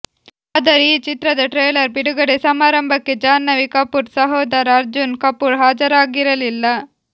ಆದರೆ ಈ ಚಿತ್ರದ ಟ್ರೇಲರ್ ಬಿಡುಗಡೆ ಸಮಾರಂಭಕ್ಕೆ ಜಾಹ್ನವಿ ಕಪೂರ್ ಸಹೋದರ ಅರ್ಜುನ್ ಕಪೂರ್ ಹಾಜರಾಗಿರಲಿಲ್ಲ